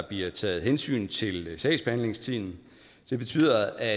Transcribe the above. bliver taget hensyn til sagsbehandlingstiden det betyder at